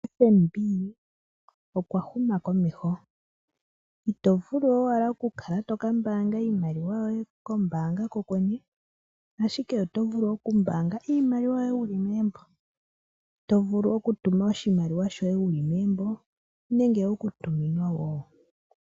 FNB okwa huma komeho ito vulu owala okukala to kambanga iimaliwa yoye kombanga kokwene ashike oto vulu okumbanga iimaliwa yoye wu li megumbo to vulu okutuma oshimaliwa shoye wu li megumbo nenge okutuminwa wo.